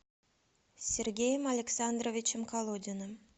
сергеем александровичем колодиным